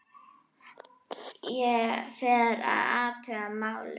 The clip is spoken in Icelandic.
Ég fer og athuga málið.